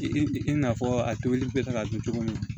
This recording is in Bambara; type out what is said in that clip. I i n'a fɔ a tobili bɛ kɛ ka don cogo min